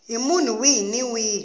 hi munhu wihi ni wihi